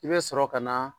I bɛ sɔrɔ ka na